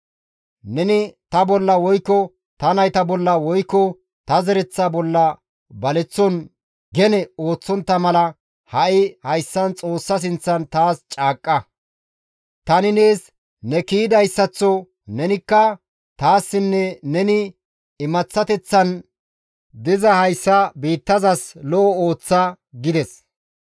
Neni ta bolla woykko ta nayta bolla woykko ta zereththa bolla baleththon gene ooththontta mala ha7i hayssan Xoossa sinththan taas caaqqa; tani nees ne kiyidayssaththo nenikka taassinne neni imaththateththan diza hayssa biittazas lo7o ooththa» gides.